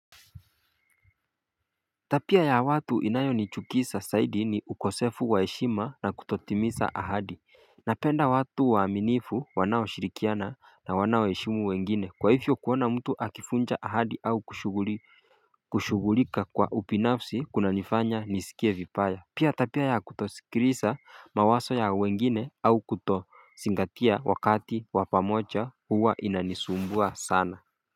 Tabia ya watu inayo nichukiza zaidi ni ukosefu wa heshima na kutotimiza ahadi Napenda watu waaminifu wanao shirikiana na wanao heshimu wengine kwa hivyo kuona mtu akivuncha ahadi au kushughulika kwa ubinafsi kuna nifanya nisikie vibaya Pia tabia ya kutosikilisa mawazo ya wengine au kutozingatia wakati wa pamoja huwa inanisumbua sana.